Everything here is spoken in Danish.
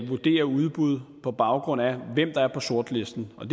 vurdere udbud på baggrund af hvem der er på sortlisten og